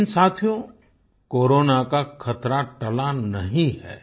लेकिन साथियो कोरोना का खतरा टला नहीं है